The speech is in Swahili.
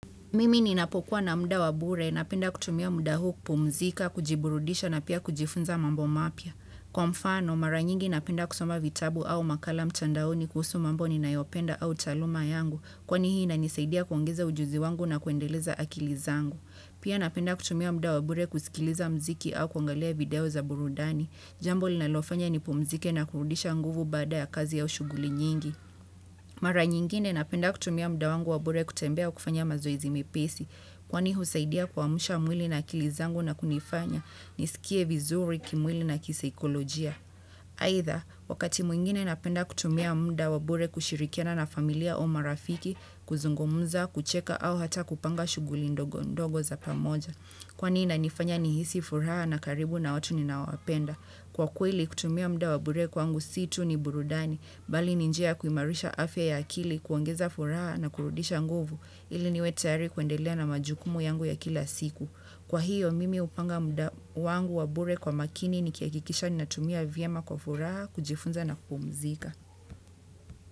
Mimi ninapokuwa na muda wa bure, napenda kutumia muda huu kupumzika, kujiburudisha na pia kujifunza mambo mapya. Kwa mfano, mara nyingi napenda kusoma vitabu au makala mtandaoni kuhusu mambo ninayopenda au taaluma yangu. Kwani hii inanisaidia kuongeza ujuzi wangu na kuendeleza akili zangu. Pia napenda kutumia muda wa bure kusikiliza muziki au kuangalia video za burudani. Jambo linalofanya ni pumzike na kurudisha nguvu baada ya kazi au shughuli nyingi. Mara nyingine napenda kutumia muda wa bure kutembea kufanya mazoezi mepesi, kwani husaidia kuamsha mwili na akili zangu na kunifanya, nisikie vizuri kimwili na kisaikolojia. Aidha, wakati mwingine napenda kutumia muda wa bure kushirikiana na familia au marafiki, kuzungumza, kucheka au hata kupanga shuguli ndogo za pamoja. Kwani ina nifanya ni hisi furaha na karibu na watu ninaowapenda. Kwa kweili kutumia muda wa bure kwangu si tu ni burudani, bali ni njia kuimarisha afya ya akili kuongeza furaha na kurudisha nguvu ili niwe tayari kuendelea na majukumu yangu ya kila siku. Kwa hiyo mimi hupanga muda wangu wa bure kwa makini ni kihakikisha ni natumia vyema kwa furaha kujifunza na kupumzika.